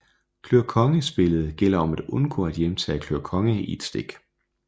Klør konge Spillet gælder om at undgå at hjemtage klør konge i et stik